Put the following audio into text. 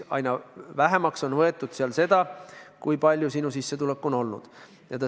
Aina vähem on võetud arvesse, kui suur sinu sissetulek on olnud.